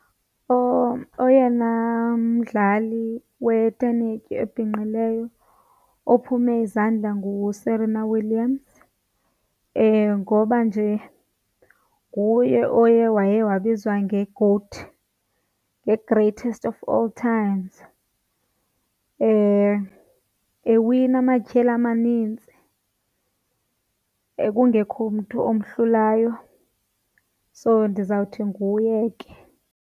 Oyena mdlali wetenetya obhinqileyo ophume izandla nguSerena Williams ngoba nje nguye oye waye wabizwa ngeengozi ngeGOAT, nge-Greatest Of All Times, ewina amatyeli amanintsi kungekho mntu omhlulayo. So ndizawuthi nguye ke.